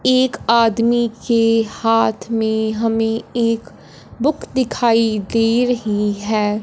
एक आदमी के हाथ में हमें एक बुक दिखाई दे रही है।